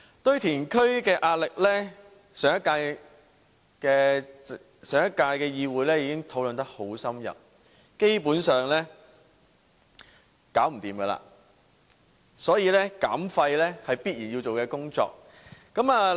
堆填區的壓力，上屆議會已有深入討論，基本上是沒有辦法解決，所以減廢是必然要做的工作。